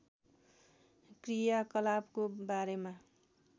क्रियाकलापको बारेमा